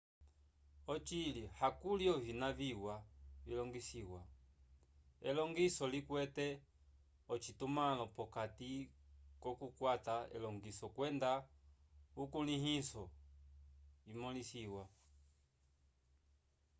ocili hakuli ovina viwa vilongisiwa elongiso likwete ocitumãlo p'okati k'okukwata elongiso kwenda ukulĩhiso imõlisiwa